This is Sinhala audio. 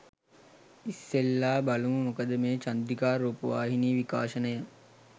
ඉස්සෙල්ලා බලමු මොකද මේ චන්ද්‍රිකා රූපවාහිනී විකාශනය